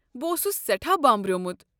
بہٕ اوسُس سیٹھاہ بامبریومٗت ۔